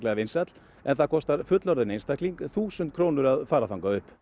vinsæll en það kostar fullorðinn einstakling þúsund krónur að fara þangað upp